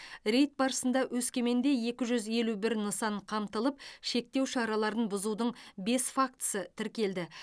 рейд барысында өскеменде екі жүз елу бір нысан қамтылып шектеу шараларын бұзудың бес фактісі тіркелді